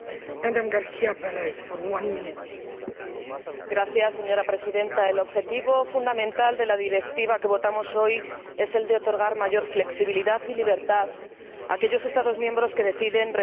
Señora Presidenta, el objetivo fundamental de la directiva que votamos hoy es el de otorgar mayor flexibilidad y libertad a aquellos Estados miembros que deciden restringir o prohibir el cultivo de transgénicos en sus territorios.